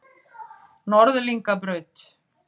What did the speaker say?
Norðlingabraut